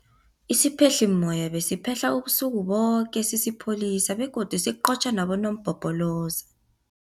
Isiphehlimmoya besiphehla ubusuku boke sisipholisa begodu siqotjha nabonompopoloza.